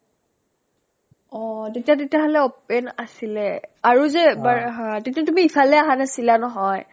অ অ তেতিয়া তেতিয়াহ'লে open আছিলে আৰু যে এবাৰ হা তেতিয়া তুমি ইফালে আহা নাছিলা নহয়